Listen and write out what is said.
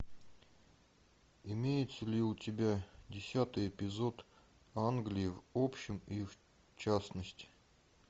имеется ли у тебя десятый эпизод англия в общем и в частности